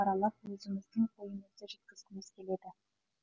аралап өзіміздің ойымызды жеткізгіміз келеді